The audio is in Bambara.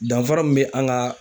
Danfara mun be an ka